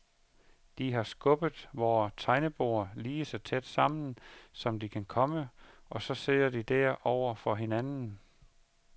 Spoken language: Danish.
De har skubbet vore tegneborde lige så tæt sammen som de kan komme, og så sidder de der over for hinanden.